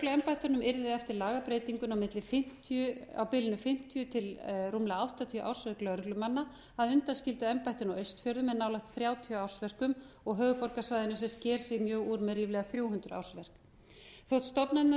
lögregluembættunum yrði eftir lagabreytinguna á bilinu fimmtíu til rúmlega áttatíu ársverk lögreglumanna að undanskildu embættinu á austfjörðum með nálægt þrjátíu ársverkum og höfuðborgarsvæðinu sem sker sig mjög úr með ríflega þrjú hundruð ársverk þótt stofnanirnar